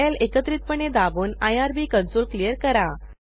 ctrl ल एकत्रितपणे दाबून आयआरबी कंसोल क्लियर करा